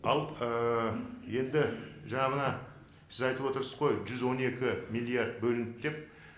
ал ыыы енді жаңа мына сіз айтып отырсыз ғой жүз он екі миллиард бөлінді деп